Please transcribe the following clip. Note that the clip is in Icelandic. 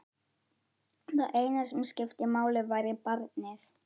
Það eina sem skipti máli væri barnið.